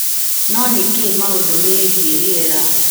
No nĩ kĩ maũndũ megiĩ riera?